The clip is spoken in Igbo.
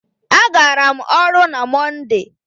A gara m ọrụ na Mọnde.